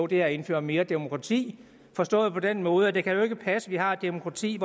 det er at indføre mere demokrati forstået på den måde at det jo ikke kan passe at vi har et demokrati